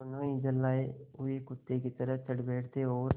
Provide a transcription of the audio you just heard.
दोनों ही झल्लाये हुए कुत्ते की तरह चढ़ बैठते और